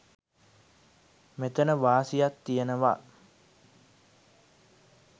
මෙතන වාසියක් තියෙනවා.